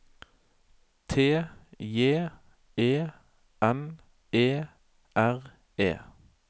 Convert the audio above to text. T J E N E R E